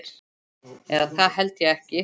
Eða það held ég ekki.